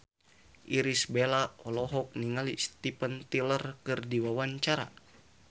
Irish Bella olohok ningali Steven Tyler keur diwawancara